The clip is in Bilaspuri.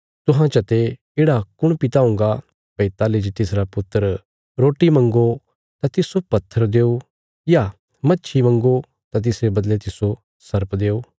तुहां चते येढ़ा कुण पिता हुंगा भई ताहली जे तिसरा पुत्र रोटी मंग्गो तां तिस्सो पत्थर देओ या मच्छी मंग्गो तां तिसरे बदले तिस्सो सर्प देओ